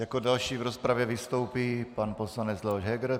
Jako další v rozpravě vystoupí pan poslanec Leoš Heger.